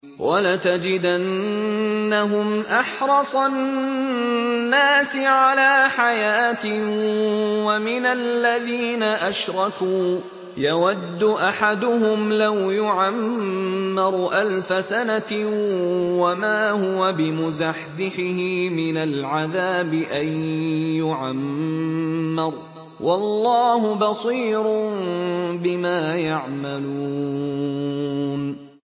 وَلَتَجِدَنَّهُمْ أَحْرَصَ النَّاسِ عَلَىٰ حَيَاةٍ وَمِنَ الَّذِينَ أَشْرَكُوا ۚ يَوَدُّ أَحَدُهُمْ لَوْ يُعَمَّرُ أَلْفَ سَنَةٍ وَمَا هُوَ بِمُزَحْزِحِهِ مِنَ الْعَذَابِ أَن يُعَمَّرَ ۗ وَاللَّهُ بَصِيرٌ بِمَا يَعْمَلُونَ